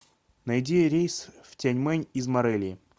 найди рейс в тяньмэнь из морелии